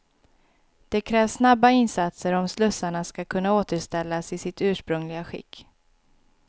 Det krävs snabba insatser om slussarna skall kunna återställas i sitt ursprungliga skick.